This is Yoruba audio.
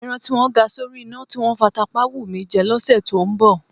Ẹran tí wọ́n ga sórí iná, tí wọ́n fata pá á wù mí jẹ lọ́sẹ̀ tó ń bọ̀.